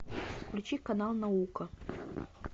включи канал наука